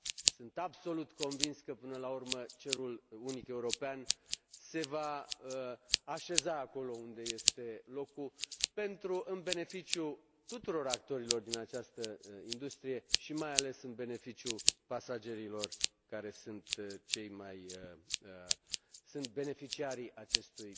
Sunt absolut convins că, până la urmă, cerul unic european se va așeza acolo unde îi este locul, în beneficiul tuturor actorilor din această industrie și mai ales în beneficiul pasagerilor, care sunt beneficiarii acestui